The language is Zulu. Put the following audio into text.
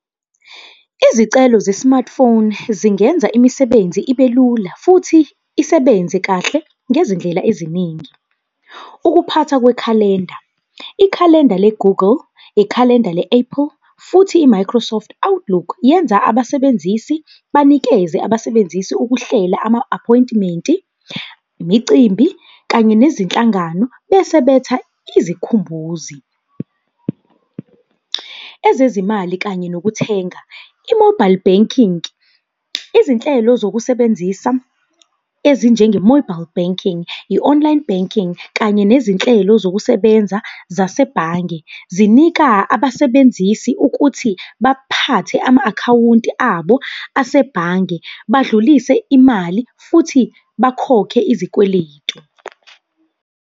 Izicelo ze-smartphone zingenza imisebenzi ibelula futhi isebenze kahle, ngezindlela eziningi. Ukuphathwa kwekhalenda, ikhalenda le-Google, ikhalenda le-Apple futhi i-Microsoft Outlook yenza abasebenzisi banikeze abasebenzisi ukuhlela ama-aphoyintimenti, imicimbi kanye nezinhlangano bese betha izikhumbuzi. Ezezimali kanye nokuthenga, i-mobile banking, izinhlelo zokusebenzisa, ezinjenge-mobile banking, i-online banking kanye nezinhlelo zokusebenza zasebhange zinika abasebenzisi ukuthi baphathe ama-akhawunti abo asebhange, badlulise imali futhi bakhokhe izikweletu.